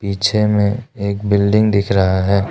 पीछे में एक बिल्डिंग दिख रहा है।